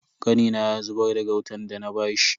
Kanina ya zubar da gautan dana bashi.